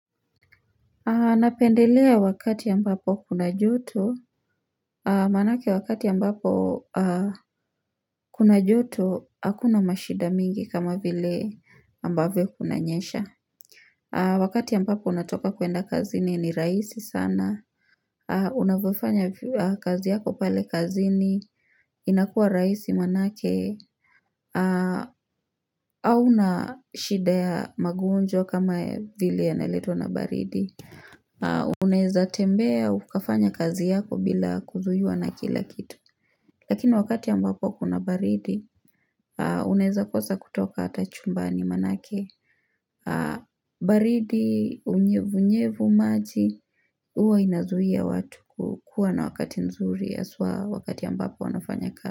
Aa napendelea wakati ambapo kuna joto Manake wakati ambapo kuna joto Hakuna mashida mingi kama vile mbavyo kunanyesha Wakati mbapo unatoka kuenda kazini ni raisi sana unavyofanya kazi yako pale kazini inakuwa raisi manake aa auna shida ya magonjwa kama vile yanayoletwa na baridi Unaeza tembea ukafanya kazi yako bila kuzuiwa na kila kitu Lakini wakati ambapo kuna baridi aa Unaeza kosa kutoka ata chumbani manake baridi unyevu nyevu maji huwa inazuia watu kukua na wakati nzuri haswa wakati ambapo wanafanya kazi.